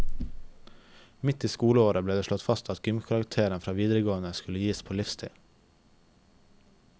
Midt i skoleåret ble det slått fast at gymkarakteren fra videregående skulle gis på livstid.